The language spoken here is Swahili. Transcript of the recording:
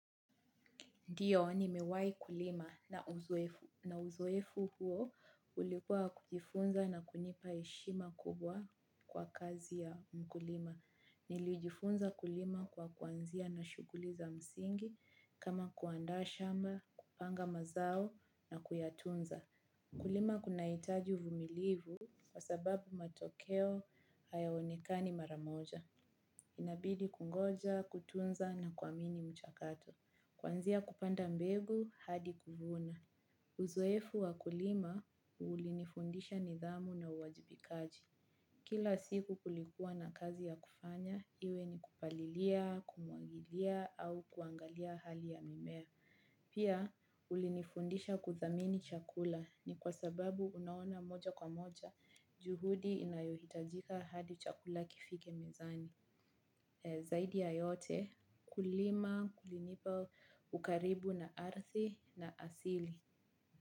Ndiyo nimewahi kulima na uzoefu huo ulikua wa kujifunza na kunipa heshima kubwa kwa kazi ya mkulima. Nilijifunza kulima kwa kuanzia na shughuli za msingi kama kuanda shamba, kupanga mazao na kuyatunza. Kulima kunaitaji uvumilivu kwa sababu matokeo hayaonekani mara moja. Inabidi kungoja, kutunza na kuamini mchakato. Kwanzia kupanda mbegu hadi kuvuna. Uzoefu wa kulima ulinifundisha nidhamu na uwajibikaji. Kila siku kulikua na kazi ya kufanya, iwe ni kupalilia, kumwagilia au kuangalia hali ya mimea. Pia ulinifundisha kudhamini chakula ni kwa sababu unaona moja kwa moja juhudi inayohitajika hadi chakula kifike mezani. Zaidi ya yote kulima kulinipa ukaribu na ardhi na asili.